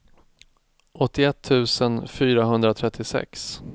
åttioett tusen fyrahundratrettiosex